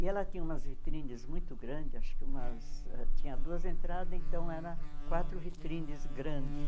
E ela tinha umas vitrines muito grandes, acho que tinha duas entradas, então eram quatro vitrines grandes.